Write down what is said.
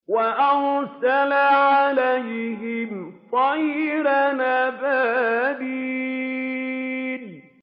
وَأَرْسَلَ عَلَيْهِمْ طَيْرًا أَبَابِيلَ